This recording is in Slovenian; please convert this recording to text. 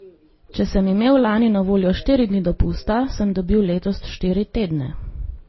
Če sem imel lani na voljo štiri dni dopusta, sem dobil letos štiri tedne!